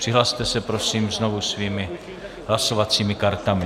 Přihlaste se, prosím, znovu svými hlasovacími kartami.